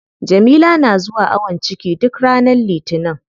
Jamila na zuwa awon ciki duk ranar litinin.